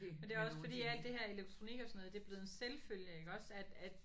Men det er også fordi alt det her elektronik og sådan noget det er blevet en selvfølge iggås at at